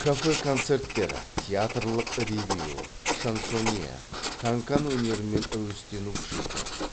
кафе концерттер театрлық ревю шансонье канкан өнерімен әуестену күшейді